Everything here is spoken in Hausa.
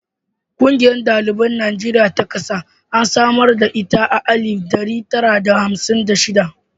Ƙungiyar ɗaliban Najeriya ta ƙasa an samar da ita a alif ɗari tara da hamsin da shida.